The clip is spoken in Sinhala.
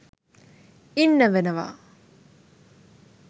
ඉන්න වෙනවා.